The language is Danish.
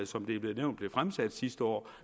som det er blevet nævnt blev fremsat sidste år